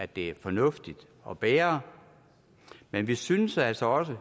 det er fornuftigt at bære men vi synes altså også